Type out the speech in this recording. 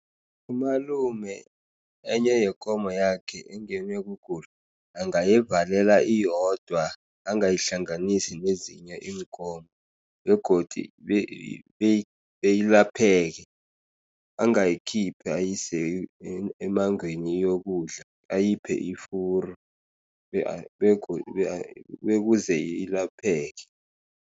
Umalume enye yekomo yakhe engenwe kugula, angayivalela iyodwa, angayihlanganisi nezinye iinkomo. Begodu beyilapheke, abangayikhiphi ayise emmangweni iyokudla. Ayiphe ifuru bekuze ilapheke.